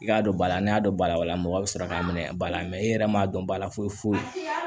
I k'a dɔn ba la ne y'a dɔn ba la mɔgɔ bɛ sɔrɔ k'a minɛ ba la e yɛrɛ m'a dɔn ba la foyi foyi